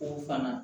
O fana